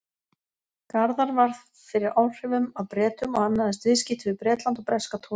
Garðar varð fyrir áhrifum af Bretum og annaðist viðskipti við Bretland og breska togara.